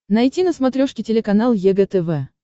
найти на смотрешке телеканал егэ тв